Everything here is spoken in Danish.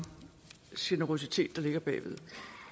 generøsitet der ligger bag ved